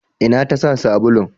Ina tasa sabulun?